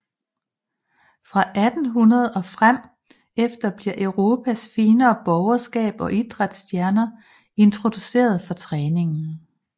Fra 1800 og frem efter bliver Europas finere borgerskab og idræts stjerner introduceret for træningen